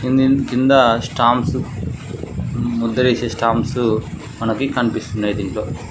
ఇందింద్ కింద స్టాంప్సు ముద్దరేసే స్టాంప్సు మనకి కనిపిస్తున్నయ్ దీంట్లో.